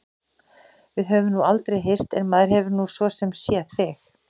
Við höfum nú aldrei hist en maður hefur nú svo sem séð þig.